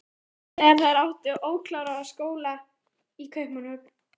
Íslands þegar þær áttu ókláraða skóla í Kaupmannahöfn.